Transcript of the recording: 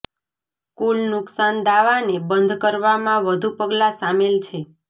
કુલ નુકશાન દાવાને બંધ કરવામાં વધુ પગલાં સામેલ છે